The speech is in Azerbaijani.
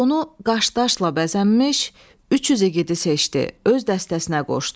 Donu qaşdaşla bəzənmiş 300 igidi seçdi, öz dəstəsinə qoşdu.